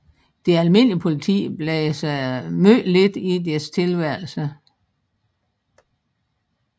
Det almindelige politi blandede sig meget lidt i deres tilværelse